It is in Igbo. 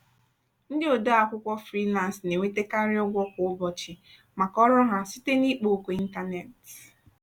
ndị ode akwụkwọ frilansị na-enwetakarị ụgwọ kwa ụbọchị maka ọrụ ha site n'ikpo okwu ịntanetị.